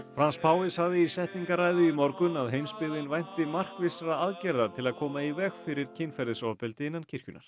Frans páfi sagði í setningarræðu í morgun að heimsbyggðin vænti markvissra aðgerða til að koma í veg fyrir kynferðisofbeldi innan kirkjunnar